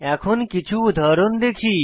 এখন কিছু উদাহরণ দেখি